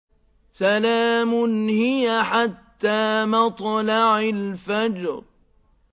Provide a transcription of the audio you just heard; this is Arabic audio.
سَلَامٌ هِيَ حَتَّىٰ مَطْلَعِ الْفَجْرِ